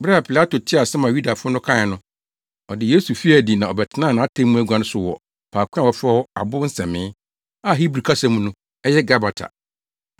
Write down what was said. Bere a Pilato tee asɛm a Yudafo no kae no, ɔde Yesu fii adi na ɔbɛtenaa nʼatemmu agua so wɔ faako a wɔfrɛ hɔ Abo Nsɛmee, (a Hebri kasa mu no, ɛyɛ “Gabata”).